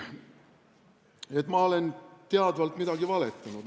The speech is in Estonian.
Et ma olen teadvalt midagi valetanud?